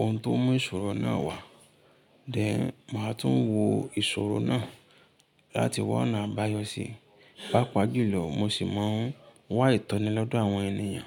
ohun tó mú ìṣòro náà wá. Then, màá tún wo ìṣòro náà láti wọ́nà àbáyọ síi. Pápá julò, mo sì máa ń wá ìtọ́nì lọ́dọ̀ àwọn ènìyàn.